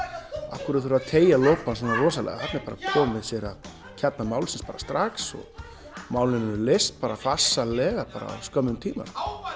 af hverju þarf að teygja lopann svona rosalega þarna er bara komið sér að kjarna málsins bara strax og málin eru leyst bara farsællega á skömmum tíma